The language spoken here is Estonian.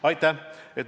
Aitäh!